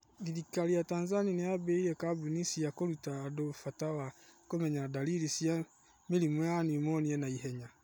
Thirikari ya Tanzania nĩ ĩambĩrĩirie kambĩini cia kũruta andũ bata wa kũmenya ndariri cia mĩrimũ ya pneumonia na ihenya.